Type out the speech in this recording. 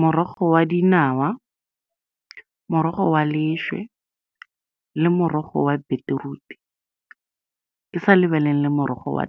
Morogo wa dinawa, morogo wa , le morogo wa beetroot-i, ke sa lebelele morogo wa .